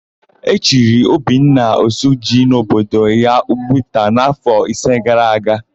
E chiri Obinna, Oshiji n'obodo ya Ugwuta n'áfọ̀ isi gara aga.